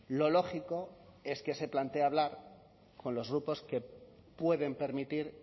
lo lógico es que se plantee hablar con los grupos que pueden permitir